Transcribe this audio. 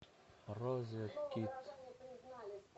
розеткед